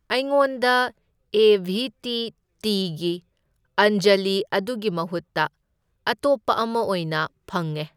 ꯑꯩꯉꯣꯟꯗ A V T ꯇꯤꯒꯤ ꯑꯟꯖꯂꯤ ꯑꯗꯨꯒꯤ ꯃꯍꯨꯠꯇ ꯑꯇꯣꯞꯄ ꯑꯃ ꯑꯣꯏꯅ ꯐꯪꯉꯦ꯫